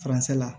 Faransɛ la